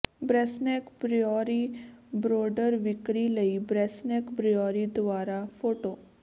Brassneck brewery ਬਰੋਡਰ ਵਿਕਰੀ ਲਈ ਬ੍ਰੈਸਨੇਕ ਬਰਿਊਰੀ ਦੁਆਰਾ ਫੋਟੋ